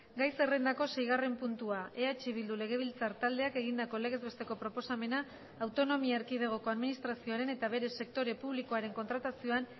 gai zerrendako seigarren puntua eh bildu legebiltzar taldeak egindako legez besteko proposamena autonomia erkidegoko administrazioaren eta bere sektore publikoaren kontratazioan